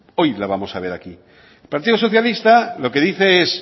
hoy la vamos a debatir partido socialista lo que dice es